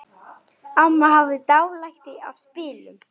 Amma hafði dálæti á spilum.